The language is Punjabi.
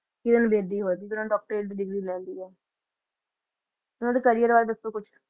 ਕਿਰਨ ਬੇਦੀ ਹੋਈ ਕਿਉਂਕਿ ਉਹਨਾਂ ਨੇ doctorate ਦੀ ਡਿਗਰੀ ਲੈ ਲਈ ਆ ਉਹਨਾਂ ਦੇ career ਬਾਰੇ ਦੱਸੋ ਕੁਛ